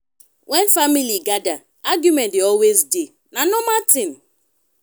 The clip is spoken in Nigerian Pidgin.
wen family gada argument dey always dey na normal tin.